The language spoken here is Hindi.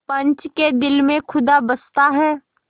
पंच के दिल में खुदा बसता है